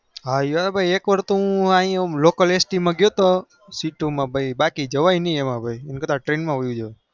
high એક વાર તો લોકલ st માં ગયો તો એમાં જવાય નઈ ભાઈ train માજ હોઈજવાય